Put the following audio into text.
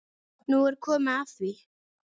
Nú er komið að því.